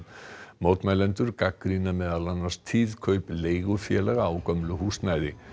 mótmælendur gagnrýna meðal annars tíð kaup leigufélaga á gömlu húsnæði